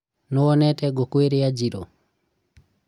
nĩwonete ngũkũ iria njirũ?